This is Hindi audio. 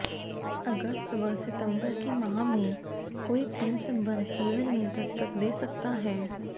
अगस्त व सितम्बर के माह में कोई प्रेम सम्बंध जीवन में दस्तक दे सकता है